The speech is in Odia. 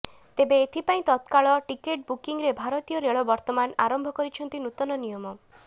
ତେବେ ଏଥିପାଇଁ ତତ୍କାଳ ଟିକେଟ୍ ବୁକିଂରେ ଭାରତୀୟ ରେଳ ବର୍ତ୍ତମାନ ଆରମ୍ଭ କରିଛନ୍ତି ନୂତନ ନିୟମ